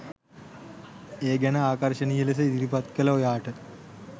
ඒ ගැන ආකර්ශණීය ලෙස ඉදිරිපත් කල ඔයාට